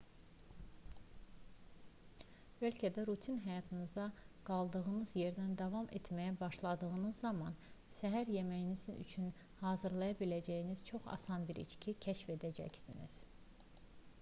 bəlkə də rutin həyatınıza qaldığınız yerdən davam etməyə başladığınız zaman səhər yeməyiniz üçün hazırlaya biləcəyiniz çox asan bir içki kəşf edəcəksiniz